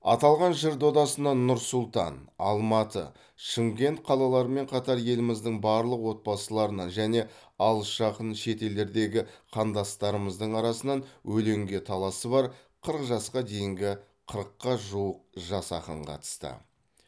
аталған жыр додасына нұр сұлтан алматы шымкент қалаларымен қатар еліміздің барлық отбасыларынан және алыс жақын шет елдердегі қандастарымыздың арасынан өлеңге таласы бар қырық жасқа дейінгі қырыққа жуық жас ақын қатысты